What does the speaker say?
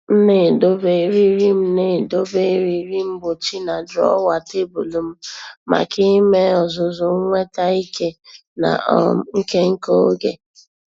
M na-edobe eriri M na-edobe eriri mgbochi na drawer tebụl m maka ime ọzụzụ nweta ike na um nke nke oge.